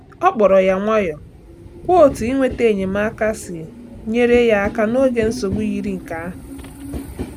Ọ kpọrọ ya nwayọọ kwuo otú inweta enyemaka si nyere ya aka n’oge nsogbu yiri nke ahụ.